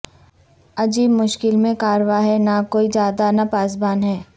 عجب مشکل میں کاررواں ہے نہ کوئی جادہ نہ پاسبان ہے